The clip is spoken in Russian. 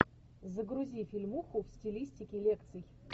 загрузи фильмуху в стилистике лекций